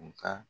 U ka